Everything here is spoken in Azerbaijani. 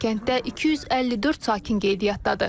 Hazırda kənddə 254 sakin qeydiyyatdadır.